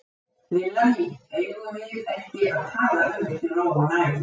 Lilla mín, eigum við ekki að tala um þetta í ró og næði?